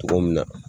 Cogo min na